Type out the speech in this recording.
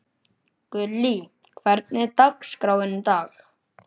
Gullý, hvernig er dagskráin í dag?